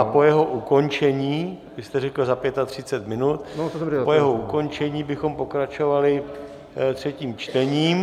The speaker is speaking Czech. A po jeho ukončení - vy jste řekl za 35 minut - po jeho ukončení bychom pokračovali třetím čtením.